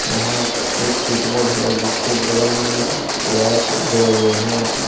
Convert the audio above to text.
यहां एक स्विचबोर्ड है जिसके बगल में वायर्स गए हुए हैं ।